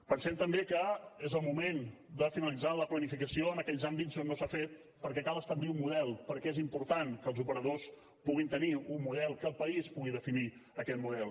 pensem també que és el moment de finalitzar la planificació en aquells àmbits on no s’ha fet perquè cal establir un model perquè és important que els operadors puguin tenir un model que el país pugui definir aquest model